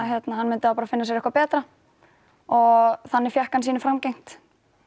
hann myndi finna sér eitthvað betra og þannig fékk hann sínu framgengt